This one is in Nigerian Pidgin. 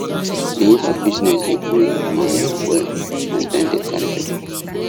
the uber bussiness dey bring money well as dem dey carry people